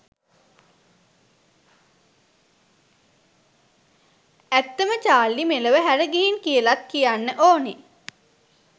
ඇත්තම චාර්ලි මෙලොව හැර ගිහින් කියලත් කියන්න ඕනේ